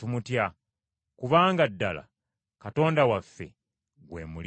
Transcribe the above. Kubanga ddala, “Katonda waffe, gwe muliro ogwokya.”